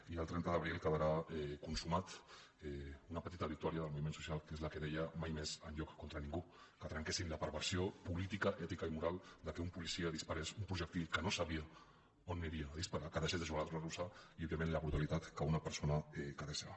i el trenta d’abril quedarà consumada una petita victòria del moviment social que és la que deia mai més enlloc contra ningú que trenquéssim la perversió política ètica i moral que un policia disparés un projectil que no sabia on aniria a disparar que deixés de jugar a la ruleta russa i òbviament la brutalitat que una persona quedés cega